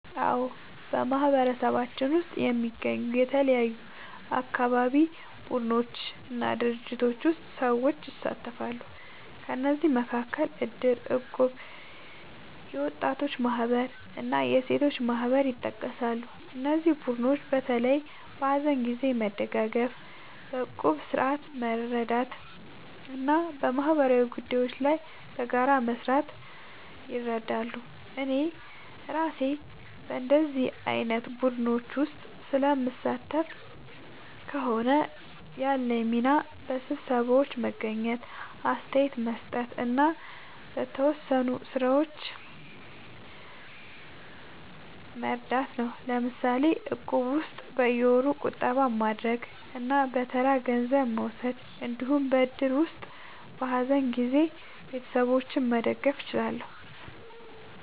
አዎ፣ በማህበረሰባችን ውስጥ የሚገኙ የተለያዩ አካባቢ ቡድኖች እና ድርጅቶች ውስጥ ሰዎች ይሳተፋሉ። ከእነዚህ መካከል እድር፣ እቁብ፣ የወጣቶች ማህበር እና የሴቶች ማህበር ይጠቀሳሉ። እነዚህ ቡድኖች በተለይ በሀዘን ጊዜ መደጋገፍ፣ በቁጠባ ስርዓት መርዳት እና በማህበራዊ ጉዳዮች ላይ በጋራ መስራት ይረዳሉ። እኔ እራሴ በእንዲህ ዓይነት ቡድኖች ውስጥ ስለምሳተፍ ከሆነ፣ ያለኝ ሚና በስብሰባዎች መገኘት፣ አስተያየት መስጠት እና በተወሰኑ ሥራዎች መርዳት ነው። ለምሳሌ በእቁብ ውስጥ በየወሩ ቁጠባ ማድረግ እና በተራ ገንዘብ መውሰድ እንዲሁም በእድር ውስጥ በሀዘን ጊዜ ቤተሰቦችን መደገፍ እችላለሁ።